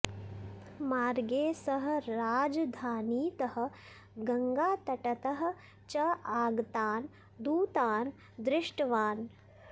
मार्गे सः राजधानीतः गङ्गातटतः च आगतान् दूतान् दृष्टवान्